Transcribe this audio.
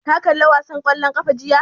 Ka kalla wasan ƙwallon ƙafa jiya?